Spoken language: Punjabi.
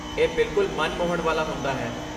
ਇਹ ਬਿਲਕੁਲ ਮਨ ਮੋਹਣ ਵਾਲਾ ਹੁੰਦਾ ਹੈ